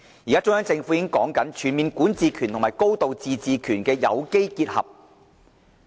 現在，中央政府已經在述說"全面管治權"和"高度自治"的有機結合。